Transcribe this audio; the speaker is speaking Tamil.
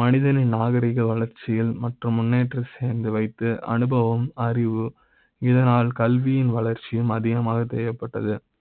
மனித னின் நாகரிக வளர்ச்சி யில் மற்றும் முன்னேற்ற ம் சேர்ந்து வைத்து அனுபவ ம் அறிவு இதனால் கல்வி யின் வளர்ச்சி யும் அதிகமாக தேவைப்பட்டது